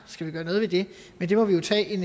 skal vi gøre noget ved det men det må vi jo tage en